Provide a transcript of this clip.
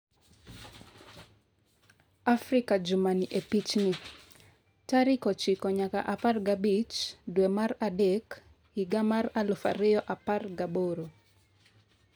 Afrika juma ni e pichni: tarik ochiko nyaka apargi abich dwe mar adek higa mar aluf ariyo apargi aboro